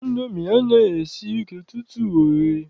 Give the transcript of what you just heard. Indomi anaghị esi ike tutu o ghee.